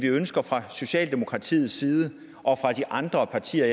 ønsker fra socialdemokratiets side og fra de andre partier